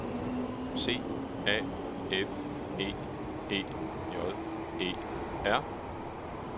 C A F É E J E R